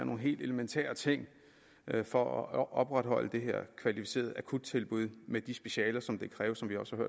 nogle helt elementære ting for at opretholde det her kvalificerede akuttilbud med de specialer som det kræver som vi også